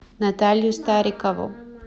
наталью старикову